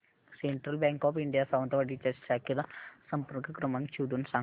central bank of India Sawantwadi च्या शाखेचा संपर्क क्रमांक शोधून सांग